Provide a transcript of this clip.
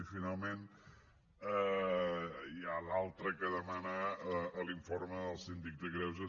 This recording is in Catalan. i finalment hi ha l’altra que demana l’informe del síndic de greuges